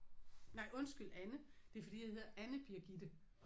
Nej undskyld Anne. Det er fordi jeg hedder Anne Birgitte